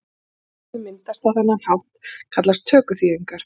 Nýyrði sem mynduð eru á þennan hátt kallast tökuþýðingar.